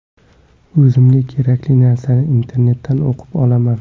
O‘zimga kerakli narsani internetdan o‘qib olaman.